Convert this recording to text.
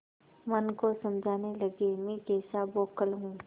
मन को समझाने लगेमैं कैसा बौखल हूँ